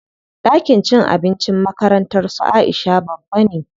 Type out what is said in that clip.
Ɗakin cin abincin makarantar su Aisha babba ne.